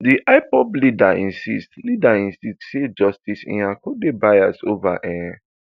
di ipob leader insist leader insist say justice nyako dey biased ova um